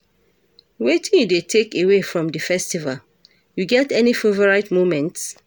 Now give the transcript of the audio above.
Wetin you dey take away from di festival, you get any favorite moments?